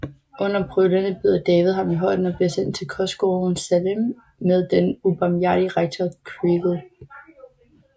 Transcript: Under pryglene bider David ham i hånden og bliver sendt til kostskolen Salem med den ubarmhjertige rektor Creakle